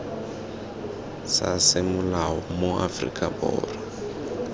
sa semolao mo aforika borwa